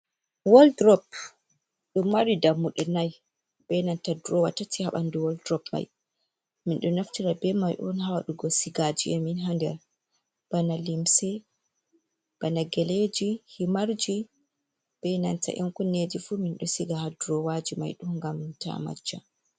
Woldrop do mari dammuɗe nai be nanta drowa tati ha bandu woldrop mai. Min ɗo naftira be mai on ha waɗugo sigaji amin ha nder bana limse, bana geleji, himarji be nanta an kunneji fu mindo siga ha drowaji mai dou ngam ta majja.